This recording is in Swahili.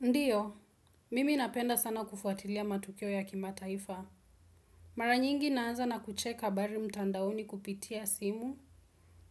Ndiyo, mimi napenda sana kufuatilia matukio ya kimataifa. Mara nyingi naanza na kucheka bali mtandaoni kupitia simu,